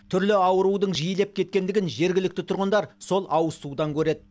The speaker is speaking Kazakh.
түрлі аурудың жиілеп кеткендігін жергілікті тұрғындар сол ауызсудан көреді